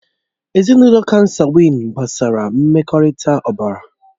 Ezinụlọ kansagwị́n gbasara mmekọrịta ọbara